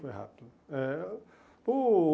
Foi rápido. Eh o